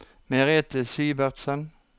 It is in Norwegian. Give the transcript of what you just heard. Merete Syvertsen